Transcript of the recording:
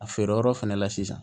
A feere yɔrɔ fɛnɛ la sisan